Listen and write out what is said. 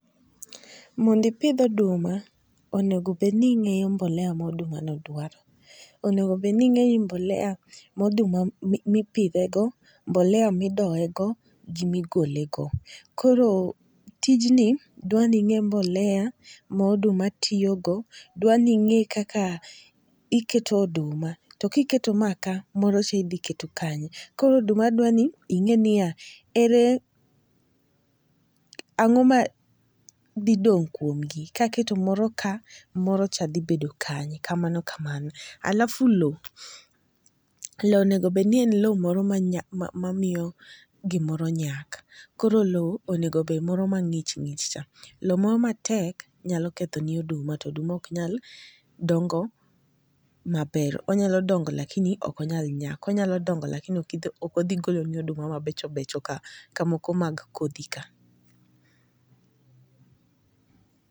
Mondi pidh oduma onego bed ni ing'eyo mbolea moduma ni dwaro . Onego bed ni ing'eni mbolea moduma mipidhe go ,mbolea midoye go gi migole go. Koro tijni dwa ni ing'e mbolea moduma tiyogo dwa ni ng'e kaka iketo oduma to kiketo ma kaa to moro cha idhi keto kanye . Koro oduma dwa ni ing'e ni ere ang'o ma dhi dong' kuom gi . Kaketo moro ka moro cha dhi bedo kanye mano ka mano. Alafu loo lowo onego bed ni en lowo moro ma mamiyo gimoro nyaka koro lowo onego bed moro ma ng'ich ng'ich cha lowo moro matek nya ketho ni oduma oduma ok nyal dongo maber onyalo dongo lakini ok onyal nyak onyalo dongo to lakini ok odhi golo ni oduma moro mabechobecho ka moko mag kodhi ka.